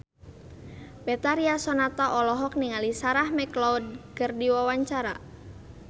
Betharia Sonata olohok ningali Sarah McLeod keur diwawancara